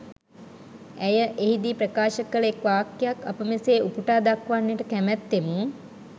ඇය එහිදී ප්‍රකාශ කල එක් වාක්‍යයක් අප මෙසේ උපුටා දක්වන්නට කැමැත්තෙමු.